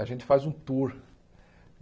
A gente faz um tour.